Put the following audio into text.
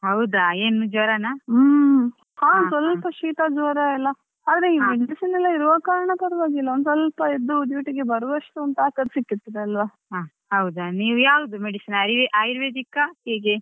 ಹ್ಮ್ ಹಾ ಸ್ವಲ್ಪ ಶೀತ ಜ್ವರ ಎಲ್ಲ ಆದ್ರೆ ಎಲ್ಲ ಇರೋ ಕಾರಣಕ್ಕೆ ಪರವಾಗಿಲ್ಲ ಒಂದ್ ಸ್ವಲ್ಪ ಎದ್ದು duty ಗೆ ಬರುವಷ್ಟು ತಾಕತ್ತು ಸಿಕ್ಕುತ್ತದೆ ಅಲ್ವ.